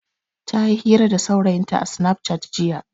Ta yi hira da saurayinta a sinaf cat jiya.